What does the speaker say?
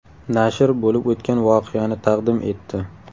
Nashr bo‘lib o‘tgan voqeani taqdim etdi.